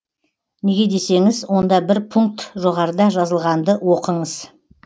неге десеңіз онда бір пункт жоғарыда жазылғанды оқыңыз